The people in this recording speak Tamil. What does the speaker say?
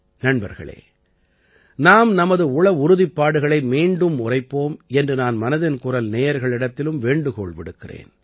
நண்பர்களே நாம் நமது உள உறுதிப்பாடுகளை மீண்டும் உரைப்போம் என்று நான் மனதின் குரல் நேயர்களிடத்திலும் வேண்டுகோள் விடுக்கிறேன்